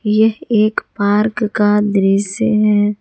यह एक पार्क का दृश्य है।